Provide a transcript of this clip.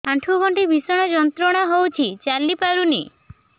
ଆଣ୍ଠୁ ଗଣ୍ଠି ଭିଷଣ ଯନ୍ତ୍ରଣା ହଉଛି ଚାଲି ପାରୁନି